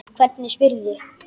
Hvernig spyrðu?